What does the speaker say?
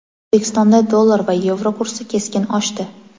O‘zbekistonda dollar va yevro kursi keskin oshdi.